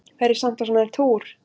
Fer ég samt á svona túr?